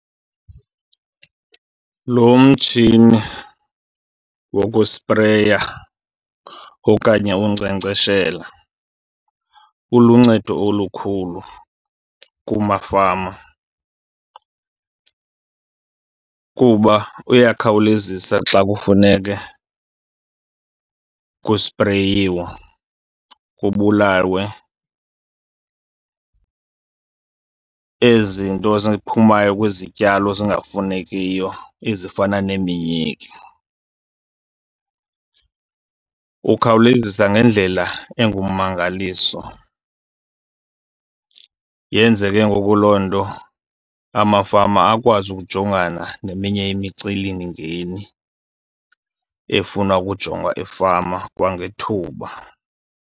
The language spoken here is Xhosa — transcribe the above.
Lo mtshini wokuspreya okanye unkcenkceshela uluncedo olukhulu kumafama, kuba uyakhawulezisa xa kufuneke kuspreyiwe, kubulawe ezi nto ziphumayo kwizityalo zingafunekiyo ezifana neminyiki. Ukhawulezisa ngendlela engummangaliso. Yenze ke ngoku loo nto amafama akwazi ukujongana neminye imicelimingeni efuna ukujongwa efama kwangethuba.